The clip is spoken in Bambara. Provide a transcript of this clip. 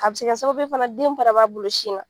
A se kɛ sababu ye fana den fana b'a bolo sin na.